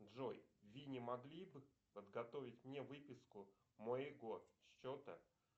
джой вы не могли бы подготовить мне выписку моего счета